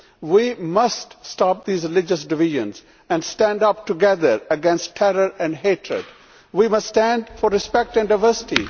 We must stop these religious divisions and stand up together against terror and hatred. We must stand for respect and diversity.